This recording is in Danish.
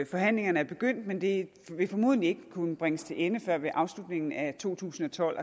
forhandlingerne er begyndt men de vil formodentlig ikke kunne bringes til ende før ved afslutningen af to tusind og tolv